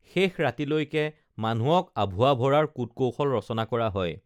শেষ ৰাতিলৈকে মানুহক আঁভুৱা ভৰাৰ কূটকৌশল ৰচনা কৰা হয়